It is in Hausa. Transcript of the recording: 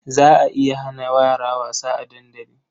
Za a iya hana yara wasa a dandali.